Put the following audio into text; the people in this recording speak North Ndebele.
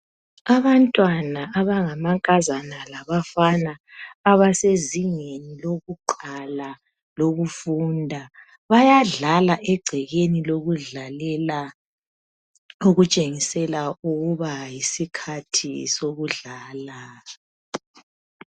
Abantwana abangamankazana labangabafana abasezingeni lokuqala lokufunda bayadlala egcekeni lokudlalela okutshengisela ukuba yisikhathi sokudlala.